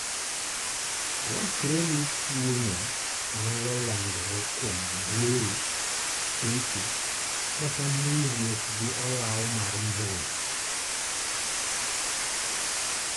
Wachore ni tuo no nyalo landore kuom gwero, kecho, kata mulruok gi olaw mar mbura.